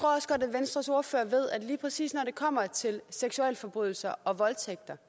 venstres ordfører ved at lige præcis når det kommer til seksualforbrydelser og voldtægter